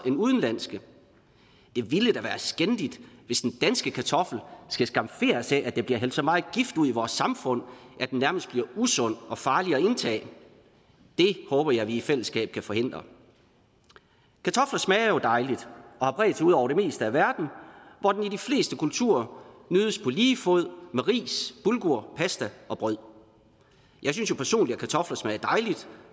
end udenlandske det ville da være skændigt hvis den danske kartoffel skal skamferes af at der bliver hældt så meget gift ud i vores samfund at den nærmest bliver usund og farlig at indtage det håber jeg vi i fællesskab kan forhindre kartofler smager jo dejligt og har bredt sig ud over det meste af verden hvor den i de fleste kulturer nydes på lige fod med ris bulgur pasta og brød jeg synes jo personligt at kartofler smager dejligt